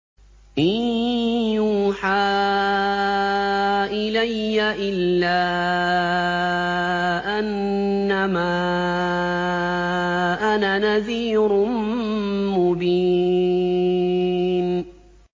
إِن يُوحَىٰ إِلَيَّ إِلَّا أَنَّمَا أَنَا نَذِيرٌ مُّبِينٌ